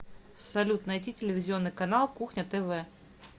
салют найти телевизионный канал кухня тв